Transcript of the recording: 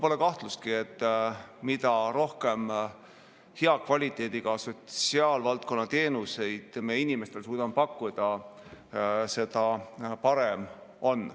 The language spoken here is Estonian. Pole kahtlustki, et mida rohkem hea kvaliteediga sotsiaalvaldkonna teenuseid me inimestele pakkuda suudame, seda parem.